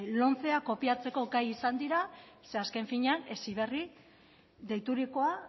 lomcea kopiatzeko gai izan dira ze azken finean heziberri deiturikoa